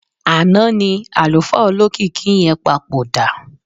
Àná ni àlùfáà olókìkí yẹn papòdà.